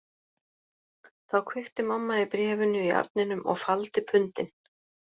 Þá kveikti mamma í bréfinu í arninum og faldi pundin